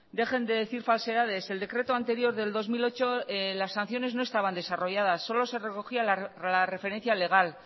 dejen de decir falsedades el decreto anterior del dos mil ocho las sanciones no estaban desarrolladas solo se recogían la referencia legal